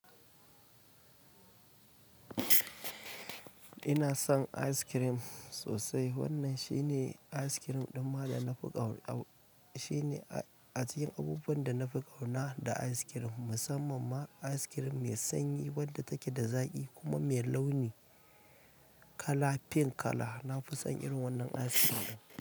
Ina son ice cream sosai. Wannan shine ice cream ɗin ma da na fi ƙauna. Shine a cikin abubuwan da na fi ƙauna da ice cream, musamman ma ice cream mai sanyi wadda take da zaƙi kuma mai launi kala pink kala. Na fi son irin wannan ice cream.